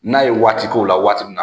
N'a ye waati k'o la waati min na